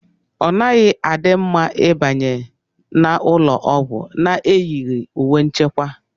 Ọ naghị adi mma ịbanye n'ụlọọgwụ n'eyighi uwe nchekwa